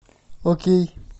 окей